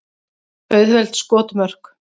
Auðveld skotmörk.